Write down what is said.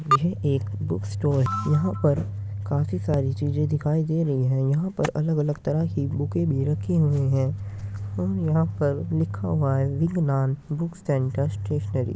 यह एक book store है | यहाँ पर काफी सारी चीज़ें दिखाई दे रही है | यहाँ पर अलग-अलग तरह की बूकेँ भी रखी हुई है और यहाँ पर लिखा हुआ है विगनान बुक सेंटर स्टेशनरी |